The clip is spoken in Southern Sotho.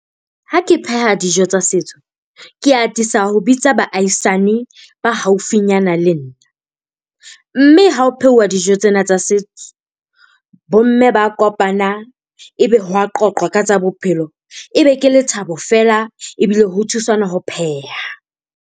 Ha ke pheha dijo tsa setso ke atisa ho bitsa baahisane ba haufinyana le nna, mme ha ho phehuwa dijo tsena tsa setso. Bomme ba a kopana. Ebe ho a qoqwa ka tsa bophelo. Ebe ke lethabo feela. Ebile ho thusanwa ho pheha.